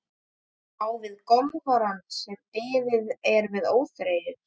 Á við golfarana sem beðið er með óþreyju.